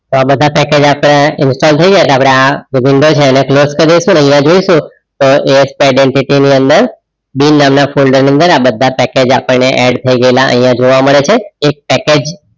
તો આ બધા પેકેજ આપણે આ ઈન્સ્ટોલ થઈ ગયા તો આ આ window છે એ close કાર ડાઈસુ ASP identity ની અંદર બે નાના ફોલ્ડર ની અંદર આ પેકેજ add થઈ ગયેલા આઇયાહ જોવા મેડ છે એક પેકેજ